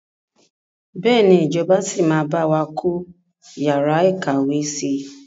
Bẹ́ẹ̀ni ìjọba síí máa bawa kọ́ yàrá ìkàwé si.